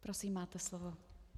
Prosím, máte slovo.